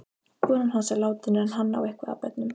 Konan hans er látin en hann á eitthvað af börnum.